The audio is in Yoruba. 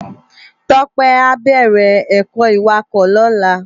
Tope á bèrè èkò iwákò lòlá